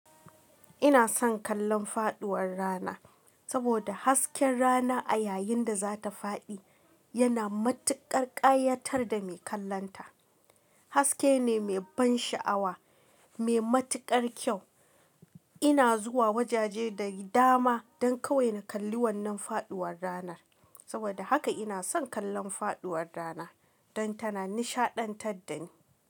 Ina son kallon faɗuwar rana saboda hasken rana a yayin da za ta faɗi yana matuƙar ƙayatar da mai kallonta. Haske ne mai ban sha'awa, mai matuƙar kyau. Ina zuwa wajaje da dama don kawai na kalli wannan faɗuwar ranar. Saboda haka ina son kallon faɗuwar rana don tana nishaɗantar da ni.